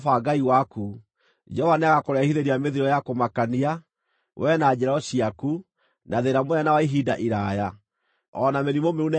Jehova nĩagakũrehithĩria mĩthiro ya kũmakania, wee na njiaro ciaku, na thĩĩna mũnene na wa ihinda iraaya, o na mĩrimũ mĩũru na ya gũikara mũno.